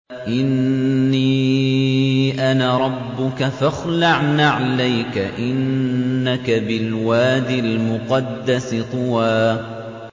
إِنِّي أَنَا رَبُّكَ فَاخْلَعْ نَعْلَيْكَ ۖ إِنَّكَ بِالْوَادِ الْمُقَدَّسِ طُوًى